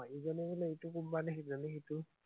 ইজনীয়ে বোলে ইটো কোম্পানী, সিজনীয়ে সিটো